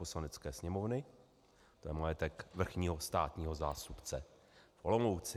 Poslanecká sněmovny, to je majetek Vrchního státního zástupce v Olomouci.